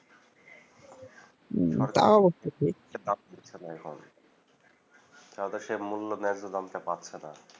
এটা বাদ দিচ্ছেনা এখন তাতে সে মূল্য ন্যায্য দাম পাচ্ছেনা